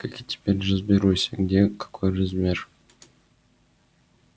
как я теперь разберусь где какой размер